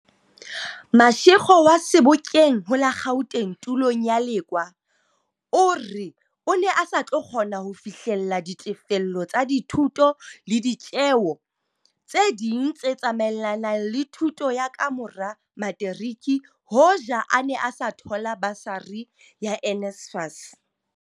Mashego wa Sebokeng ho la Gauteng tulong ya Lekoa o re o ne a sa tlo kgona ho fihlella ditefello tsa dithuto le ditjeo tse ding tse tsa maelanang le thuto ya ka mora materiki hoja a ne a sa thola basari ya NSFAS.